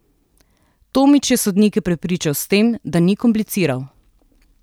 Tomič je sodnike prepričan s tem, da ni kompliciral ...